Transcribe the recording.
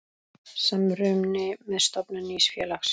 Samruni með stofnun nýs félags.